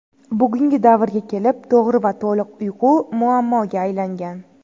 Bugungi davrga kelib to‘g‘ri va to‘liq uyqu muammoga aylangan.